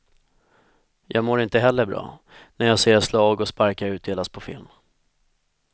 Jag mår inte heller bra, när jag ser slag och sparkar utdelas på film.